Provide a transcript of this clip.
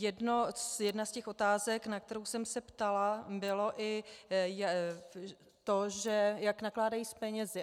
Jedna z těch otázek, na kterou jsem se ptala, bylo i to, jak nakládají s penězi.